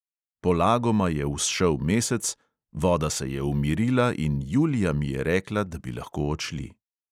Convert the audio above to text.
Polagoma je vzšel mesec, voda se je umirila in julija mi je rekla, da bi lahko odšli.